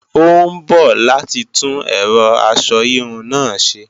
Ó ń bọ̀ láti tún ẹ̀rọ aṣọ híhun náà ṣe